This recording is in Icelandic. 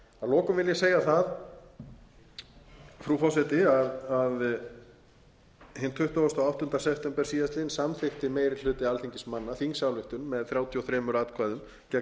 lokum vil ég segja það frú forseti að hinn tuttugasta og áttunda september síðastliðinn samþykkti meiri hluti alþingismanna þingsályktun með þrjátíu og þremur atkvæðum gegn þrjátíu